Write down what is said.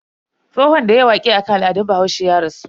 Tsohon da yayi waƙe akan al'adun bahaushe ya rasu.